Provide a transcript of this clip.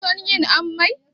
Kin son yin ammai?